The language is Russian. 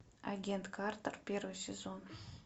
агент картер первый сезон